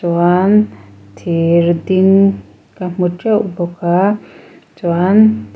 chuan thir ding ka hmu teuh bawk a chuan thi--